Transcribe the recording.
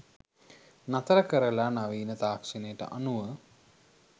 නතර කරලා නවීන තාක්ෂණයට අනුව